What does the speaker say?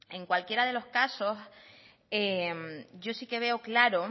en cualquiera de los casos yo sí que veo claro